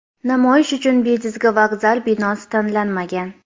Namoyish uchun bejizga vokzal binosi tanlanmagan.